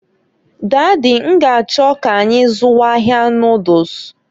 Daddy, n'g'achọ k'anyị zụwa ahịa noduls.